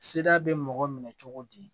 Seda bɛ mɔgɔ minɛ cogo di